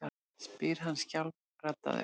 spyr hann skjálfraddaður.